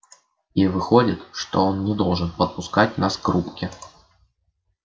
и выходит что он не должен подпускать нас к рубке